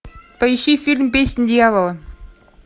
поищи фильм песнь дьявола